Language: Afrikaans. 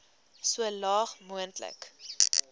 so laag moontlik